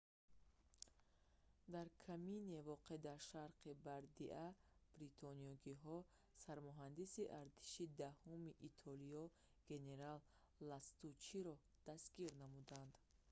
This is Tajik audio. дар камине воқеъ дар шарқи бардиа бритониёгиҳо сармуҳандиси артиши даҳуми итолиё генерал ластуччиро дастгир намуданд